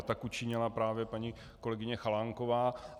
A tak učinila právě paní kolegyně Chalánková.